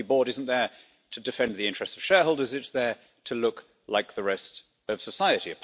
A company board isn't there to defend the interests of shareholders it's there to look like the rest of society.